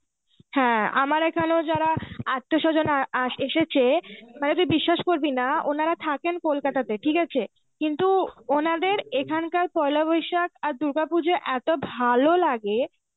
হ্যাঁ, আমার এখানেও যারা আত্মীয় স্বজন আ এসেছে মানে তুই বিশ্বাস করবিনা ওনারা থাকেন কলকাতাতে ঠিকআছে, কিন্তু ওনাদের এখানকার পয়লা বৈশাখ আর দুর্গাপুজো এত্তো ভালো লাগে